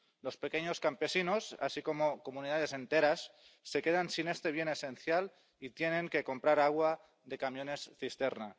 Los pequeños campesinos, así como comunidades enteras, se quedan sin este bien esencial y tienen que comprar agua de camiones cisterna.